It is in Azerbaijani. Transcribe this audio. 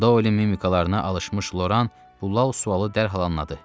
Doelin mimikalarına alışmış Loran sualı dərhal anladı.